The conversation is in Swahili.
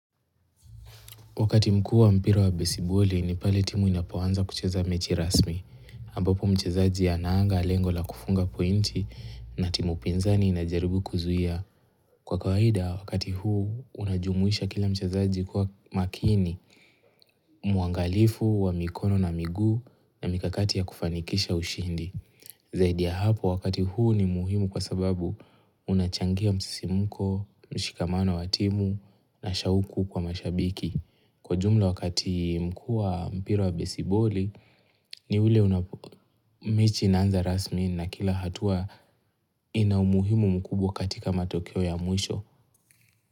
Wakati mkuu wa mpira wa besiboli ni pale timu inapoanza kucheza mechi rasmi. Ambapo mchezaji anaanga, lengo la kufunga pointi na timu pinza inajaribu kuzuia. Kwa kawaida wakati huu unajumuisha kila mchezaji kuwa makini mwangalifu wa mikono na miguu na mikakati ya kufanikisha ushindi. Zaidi ya hapo wakati huu ni muhimu kwa sababu unachangia msisimko, mshikamano wa timu na shauku kwa mashabiki. Kwa jumla wakati mkuu wa mpira wa besiboli ni ule unapo mechi inaanza rasmi na kila hatua ina umuhimu mkubwa katika matokeo ya mwisho.